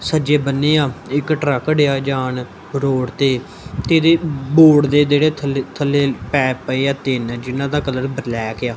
ਸੱਜੇ ਬੰਨੇ ਆ ਇਕ ਟਰੱਕ ਡਿਆ ਜਾਨ ਰੋਡ ਤੇ ਤੇ ਇਹਦੇ ਬੋਰਡ ਦੇ ਜਿਹੜੇ ਥੱਲੇ ਥੱਲੇ ਪੈਪ ਪਏ ਆ ਤਿੰਨ ਜਿੰਨਾ ਦਾ ਕਲਰ ਬਲੈਕ ਏ ਆ--